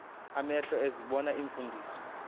amehlo ezibona iimfundiso